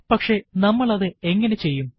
പക്ഷെ നമ്മൾ അതു എങ്ങനെ ചെയ്യും